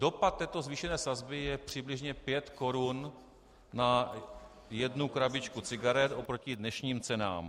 Dopad této zvýšené sazby je přibližně 5 korun na jednu krabičku cigaret oproti dnešním cenám.